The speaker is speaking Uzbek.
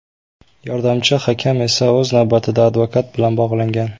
Yordamchi hakam esa o‘z navbatida advokat bilan bog‘langan.